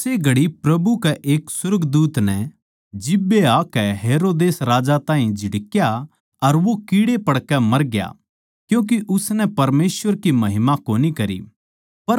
उस्से घड़ी प्रभु कै एक सुर्गदूत नै जिब्बे आकै हेरोदेस राजा ताहीं झिड़का अर वो कीड़े पड़कै मरग्या क्यूँके उसनै परमेसवर की महिमा कोनी करी